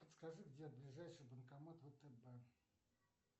подскажи где ближайший банкомат втб